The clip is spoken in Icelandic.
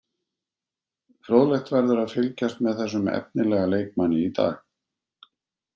Fróðlegt verður að fylgjast með þessum efnilega leikmanni í dag.